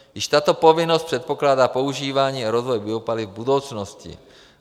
Již tato povinnost předpokládá používání a rozvoj biopaliv v budoucnosti.